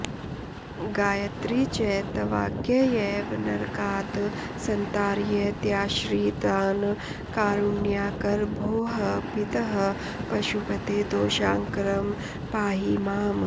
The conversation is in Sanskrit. गायत्री च तवाज्ञयैव नरकात् सन्तारयत्याश्रितान् कारुण्याकर भोः पितः पशुपते दोषाकरं पाहि माम्